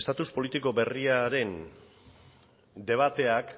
estatus politiko berriaren debateak